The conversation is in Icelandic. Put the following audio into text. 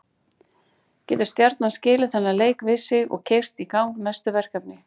Getur Stjarnan skilið þennan leik við sig og keyrt í gang næstu verkefni?